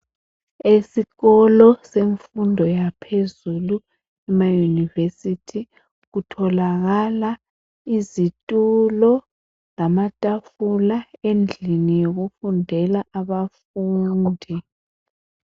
Esikolo semfundo yaphezulu, ema- university. Kutholakala izitulo, lamatafula, endlini yokufundela, abafundi.